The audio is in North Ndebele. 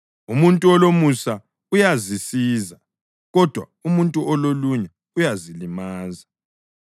Umuntu olomusa uyazisiza, kodwa umuntu ololunya uyazilimaza.